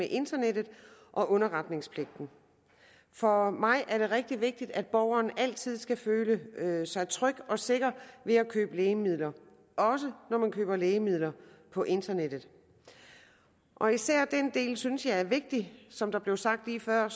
internettet og underretningspligten for mig er det rigtig vigtigt at borgeren altid skal føle sig tryg og sikker ved at købe lægemidler også når man køber lægemidler på internettet og især den del synes jeg er vigtig som der blev sagt lige før